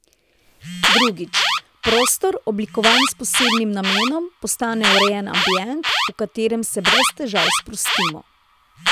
Drugič, prostor, oblikovan s posebnim namenom, postane urejen ambient, v katerem se brez težav sprostimo.